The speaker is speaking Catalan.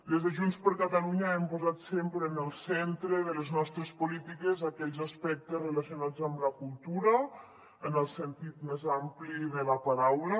des de junts per catalunya hem posat sempre en el centre de les nostres polítiques aquells aspectes relacionats amb la cultura en el sentit més ampli de la paraula